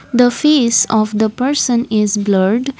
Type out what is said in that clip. the face of the person is blurred.